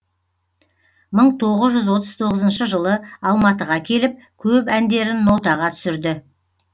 мың тоғыз жүз отыз тоғызыншы жылы алматыға келіп көп әндерін нотаға түсірді